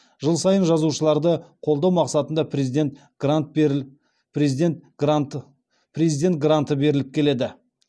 жыл сайын жазушыларды қолдау мақсатында президент гранты беріліп келеді